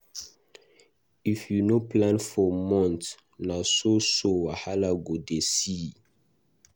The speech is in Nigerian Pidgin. If you no plan for month, na so so wahala you go dey see.